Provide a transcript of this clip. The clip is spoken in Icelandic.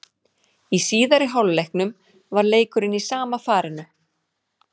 Í síðari hálfleiknum var leikurinn í sama farinu.